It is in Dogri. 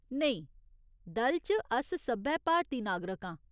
नेईं, दल च अस सब्भै भारती नागरक आं।